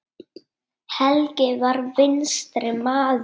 Helgi var vinstri maður.